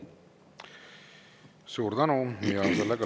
Suur tänu!